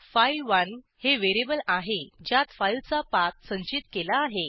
file one हे variable आहे ज्यात फाईलचा पाथ संचित केला आहे